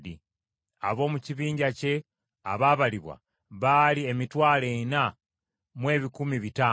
Ab’omu kibinja kye abaabalibwa baali emitwalo ena mu ebikumi bitaano (40,500).